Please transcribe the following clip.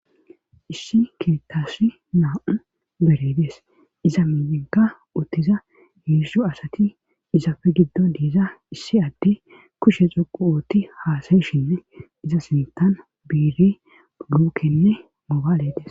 Issi keettasi naa'u beredees iza minnenka uttiza heeshu asati izapfe giddon diiza issi adde kushe xoqu uutti haasayishinne iza sintan biiri lukenne mobaaledes.